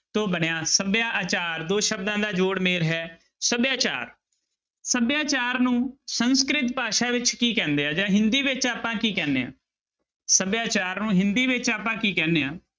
ਤੋਂ ਬਣਿਆ ਸਭਿਆ ਆਚਾਰ ਦੋ ਸ਼ਬਦਾਂ ਦਾ ਜੋੜ ਮੇਲ ਹੈ ਸਭਿਆਚਾਰ, ਸਭਿਆਚਾਰ ਨੂੰ ਸੰਸਕ੍ਰਿਤ ਭਾਸ਼ਾ ਵਿੱਚ ਕੀ ਕਹਿੰਦੇ ਆ ਜਾਂ ਹਿੰਦੀ ਵਿੱਚ ਆਪਾਂ ਕੀ ਕਹਿੰਦੇ ਹਾਂ, ਸਭਿਆਚਾਰ ਨੂੰ ਹਿੰਦੀ ਵਿੱਚ ਆਪਾਂ ਕੀ ਕਹਿੰਦੇ ਹਾਂ?